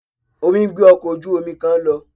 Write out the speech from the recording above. Omi ń gbé ọkọ̀ ojú-omi kan lọ